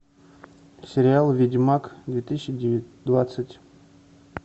сериал ведьмак две тысячи двадцать